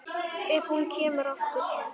Ef hún kemur aftur.